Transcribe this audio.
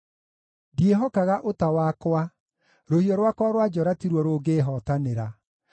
Ndiĩhokaga ũta wakwa, rũhiũ rwakwa rwa njora ti ruo rũngĩĩhootanĩra;